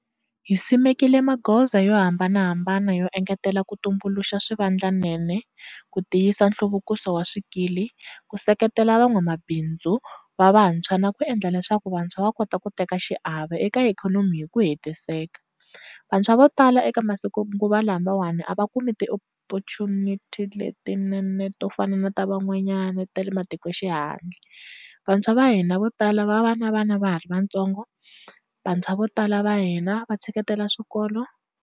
Hi simekile magoza yo hambanahambana yo engetela ku tumbuluxa swivandlanene, ku tiyisa nhluvukiso wa swikili, ku seketela van'wamabindzu va vantshwa na ku endla leswaku vantshwa va kota ku teka xiave eka ikhonomi hi ku hetiseka.